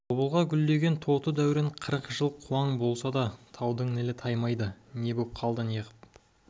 тобылғы гүлдеген тоты дәурен қырық жыл қуаң болса да таудың нілі таймайды не боп қалды неғып